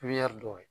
dɔw ye